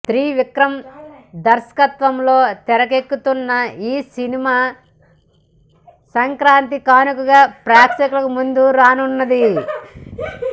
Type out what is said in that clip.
త్రివిక్రమ్ దర్శకత్వంలో తెరకెక్కుతున్న ఈ సినిమా సంక్రాంతి కానుకగా ప్రేక్షకుల ముందుకు రానున్నది